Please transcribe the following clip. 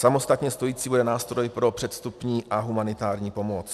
Samostatně stojící bude nástroj pro předvstupní a humanitární pomoc.